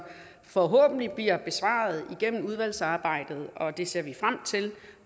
forhåbentlig bliver besvaret igennem udvalgsarbejdet og det ser vi frem til